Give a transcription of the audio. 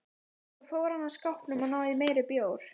Svo fór hann að skápnum og náði í meiri bjór.